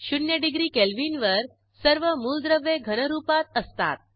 शून्य degree Kelvin वर सर्व मूलद्रव्ये घनरूपात असतात